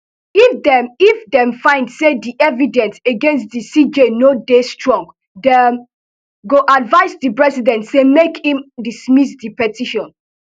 if dem if dem find say di evidence against di cj no dey strong dem go advise di president say make im dismiss di petition